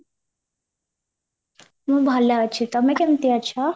ମୁଁ ଭଲ ଅଛି ତମେ କେମିତି ଅଛ?